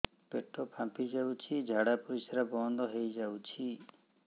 ପେଟ ଫାମ୍ପି ଯାଉଛି ଝାଡା ପରିଶ୍ରା ବନ୍ଦ ହେଇ ଯାଉଛି